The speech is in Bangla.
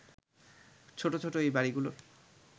ছোট ছোট এই বাড়িগুলোর